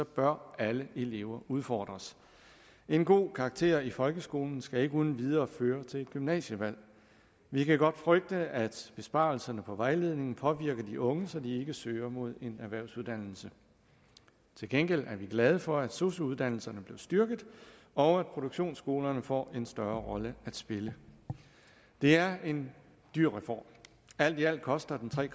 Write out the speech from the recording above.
bør alle elever udfordres en god karakter i folkeskolen skal ikke uden videre føre til et gymnasievalg vi kan godt frygte at besparelserne på vejledningen påvirker de unge så de ikke søger mod en erhvervsuddannelse til gengæld er vi glade for at sosu uddannelserne blev styrket og at produktionsskolerne får en større rolle at spille det er en dyr reform alt i alt koster den tre